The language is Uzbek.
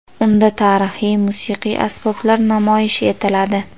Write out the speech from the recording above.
Unda tarixiy musiqiy asboblar namoyish etiladi.